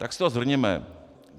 Tak si to shrňme.